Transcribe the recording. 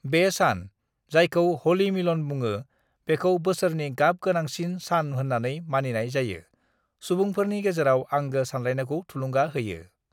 "बे सान, जायखौ "ह'लि मिलन" बुङो, बिखौ बोसोरनि गाब गोनांसिन सान होननानै मानिनाय जायो, सुबुंफोरनि गेजेराव आंगो सानलायनायखौ थुलुंगा होयो।"